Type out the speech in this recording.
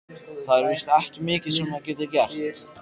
Það er víst ekki mikið sem maður getur gert.